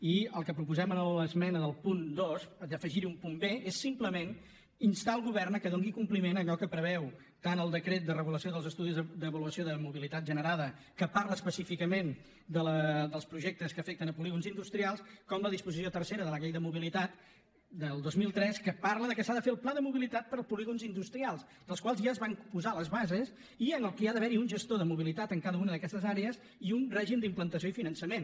i el que proposem amb l’esmena del punt dos d’afegir hi un punt b és simplement instar el govern que doni compliment a allò que preveuen tant el decret de regulació dels estudis d’avaluació de mobilitat generada que parla específicament dels projectes que afecten polígons industrials com la disposició tercera de la llei de mobilitat del dos mil tres que parla que s’ha de fer el pla de mobilitat per a polígons industrials dels quals ja es van posar les bases i en què hi ha d’haver un gestor de mobilitat en cada una d’aquestes àrees i un règim d’implantació i finançament